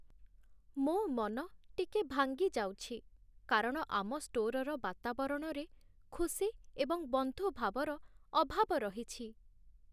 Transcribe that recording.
ମୋ ମନ ଟିକେ ଭାଙ୍ଗି ଯାଉଛି, କାରଣ ଆମ ଷ୍ଟୋରର ବାତାବରଣରେ ଖୁସି ଏବଂ ବନ୍ଧୁଭାବର ଅଭାବ ରହିଛି।